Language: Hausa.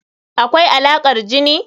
Akwai Alaƙar jini.